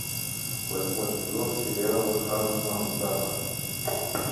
восьмой сезон сериала ханна монтана